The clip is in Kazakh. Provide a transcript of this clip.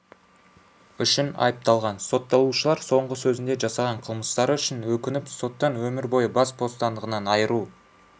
үшін айыпталған сотталушылар соңғы сөзінде жасаған қылмыстары үшін өкініп соттан өмір бойы бас бостандығынан айыру